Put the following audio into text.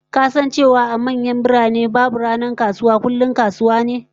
Ka san cewa a manyan birane, babu ranar kasuwa dabam kullum kasuwa?